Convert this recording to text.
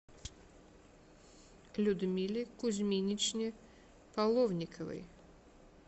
людмиле кузьминичне половниковой